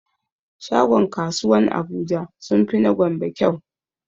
Shagon kasuwan abuja sunfi na gombe kyau